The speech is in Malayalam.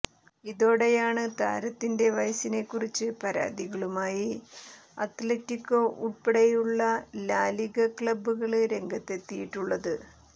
ഇതോടെയാണ് താരത്തിന്റെ വയസ്സിനെ കുറിച്ച് പരാതികളുമായി അത്ലറ്റികോ ഉള്പ്പടെയുള്ള ലാ ലിഗ ക്ലബുകള് രംഗത്തെത്തിയിട്ടുള്ളത്